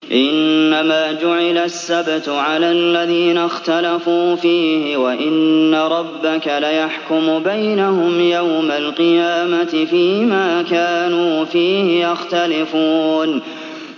إِنَّمَا جُعِلَ السَّبْتُ عَلَى الَّذِينَ اخْتَلَفُوا فِيهِ ۚ وَإِنَّ رَبَّكَ لَيَحْكُمُ بَيْنَهُمْ يَوْمَ الْقِيَامَةِ فِيمَا كَانُوا فِيهِ يَخْتَلِفُونَ